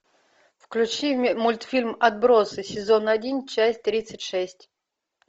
включи мультфильм отбросы сезон один часть тридцать шесть